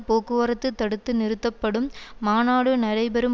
போக்குவரத்து தடுத்து நிறுத்தப்படும் மாநாடு நடைபெறும்